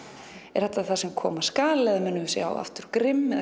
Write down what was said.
er þetta það sem koma skal eða munum við sjá aftur